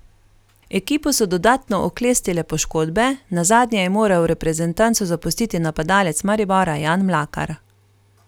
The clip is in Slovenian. Ekipo so dodatno oklestile poškodbe, nazadnje je moral reprezentanco zapustiti napadalec Maribora Jan Mlakar.